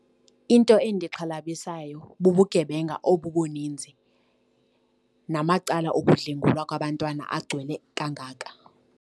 Into endixhalabisayo bubugebenga obu buninzi namacala okudlwengulwa kwabantwana agcwele kangaka.